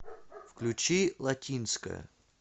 включи латинская